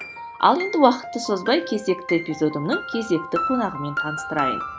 ал енді уақытты созбай кезекті эпизодымның кезекті қонағымен таныстырайын